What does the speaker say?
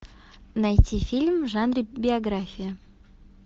найти фильм в жанре биография